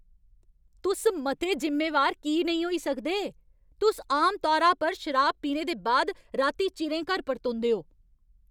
तुस मते जिम्मेवार की नेईं होई सकदे? तुस आमतौरा पर शराब पीने दे बाद राती चिरें घर परतोंदे ओ।